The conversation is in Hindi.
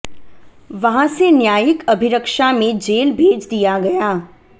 वहां से न्यायिक अभिरक्षा में जेल भेज दिया गया